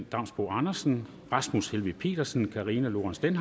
damsbo andersen rasmus helveg petersen karina lorentzen